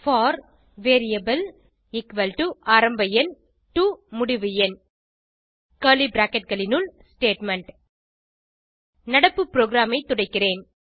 போர் variable ஆரம்ப எண் to முடிவு எண் ஸ்டேட்மெண்ட் நடப்பு ப்ரோகிராமைத் துடைக்கிறேன்